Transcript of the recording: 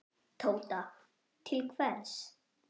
Tóta: Til hvers?